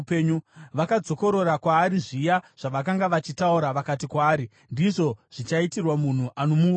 Vakadzokorora kwaari zviya zvavakanga vachitaura vakati kwaari, “Ndizvo zvichaitirwa munhu anomuuraya.”